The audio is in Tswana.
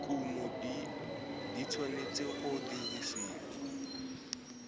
kumo di tshwanetse go dirisiwa